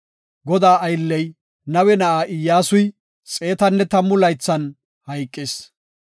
Godaa aylley, Nawe na7aa Iyyasuy xeetanne tammu laythan hayqis.